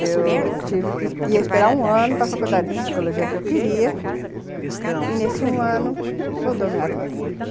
Eu... tive que... eu ia esperar um ano para a faculdade de psicologia que eu queria, e nesse um ano mudou a minha vida.